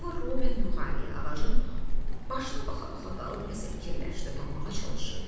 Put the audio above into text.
Kristofer Robin yuxarıya, ağacın başına baxa-baxa qalıb nəsə fikirləşdi, tapmağa çalışırdı.